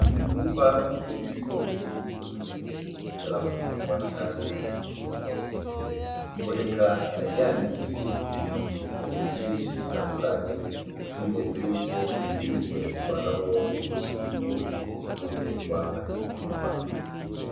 Imitumba y’ibigori iboneka yuko bitaraharugurwa canke ikurweko intete, iboneka yanikiye hejuru ku biti vyinshi bitandukanye nk’ikimenyetso yuko birindiriwe kuvanamwo imbuto z’ibigori zizoterwa hageze kurima.